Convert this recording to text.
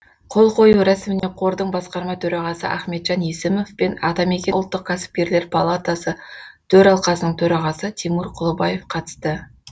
қол қою рәсіміне қордың басқарма төрағасы ахметжан есімов пен атамекен ұлттық кәсіпкерлер палатасы төралқасының төрағасы тимур кұлыбаев қатысты